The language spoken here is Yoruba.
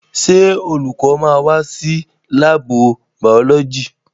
Ṣé olùkọ́ máa wá sí láàbù bàọ́lọ́jì?